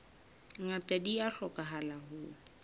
ngata di a hlokahala ho